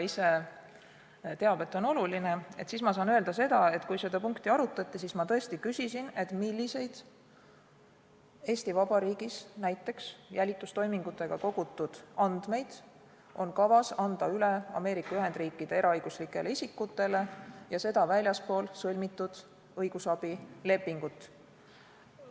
Usun, et usaldust reetmata saan öelda, et kui seda punkti arutati, siis ma tõesti küsisin, milliseid Eesti Vabariigis näiteks jälitustoimingutega kogutud andmeid on kavas anda üle Ameerika Ühendriikide eraõiguslikele isikutele ja seda väljaspool sõlmitud õigusabilepingut.